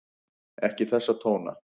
Ekki þessa tóna!